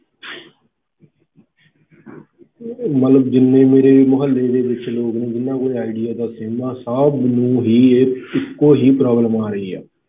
ਮਤਲਬ ਜਿੰਨੇ ਮੇਰੇ ਮੁਹੱਲੇ ਦੇ ਵਿੱਚ ਲੋਕ ਨੇ ਉਹਨਾਂ ਕੋਲ ਆਈਡੀਆ ਦਾ sim ਹੈ, ਸਭ ਨੂੰ ਹੀ ਇਹ ਇੱਕੋ ਹੀ problem ਆ ਰਹੀ ਹੈ।